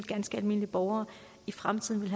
ganske almindelige borgere i fremtiden vil